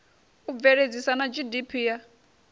u bveledzisa na gdp ya